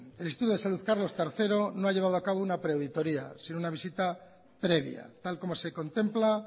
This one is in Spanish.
el instituto de salud carlos tercero no ha llevado a cabo una pre auditoria sino una visita previa tal como se contempla